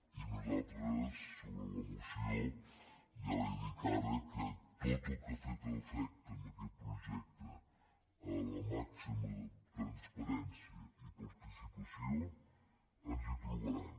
i nosaltres sobre la moció ja li dic ara que en tot el que afecta en aquest projecte la màxima transparència i participació ens hi trobaran